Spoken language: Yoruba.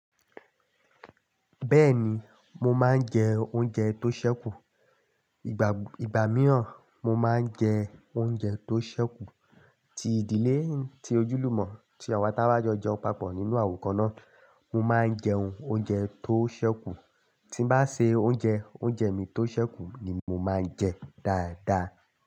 Bẹ́ẹ̀ni, mo máa ń jẹ oúnjẹ tó ṣẹ́kù. Ìgbà mìíràn mo máa ń jẹ oúnjẹ tó ṣẹ́kù. Ti ìdílé tí ojúlùmọ̀ tí àwọn táa bá jọ jẹun papọ̀ nínú àwò kàná, mo máa ń jẹun oúnjẹ tó ṣẹ́kù. Tí n bá ṣe oúnjẹ, oúnjẹ mi tó ṣẹ́kù ni mo máa ń jẹ dáadáa.